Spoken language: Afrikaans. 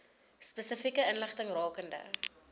spesifieke inligting rakende